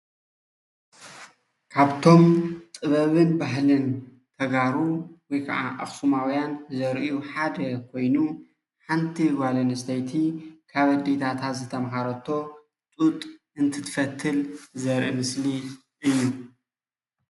ካብቶም ጥበብን ባህልን ተጋሩ ወይ ካዓ ኣክሱማዉያን ዘርእዩ ሓደ ኮይኑ ሓንቲ ጓል ኣንስተይቲ ካብ ኣዴታታ ዝተምሃረቶ ጡጥ እንትትፈትል ዘርኢ ምስሊ እዩ፡፡